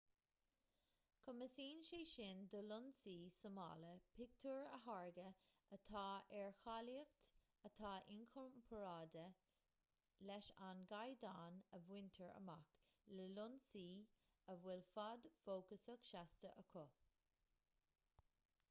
cumasaíonn sé sin do lionsaí súmála pictiúir a tháirgeadh atá ar cháilíocht atá inchomparáide leis an gcaighdeán a bhaintear amach le lionsaí a bhfuil fad fócasach seasta acu